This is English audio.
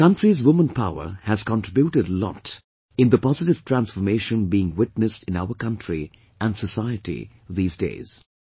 The country's woman power has contributed a lot in the positive transformation being witnessed in our country & society these days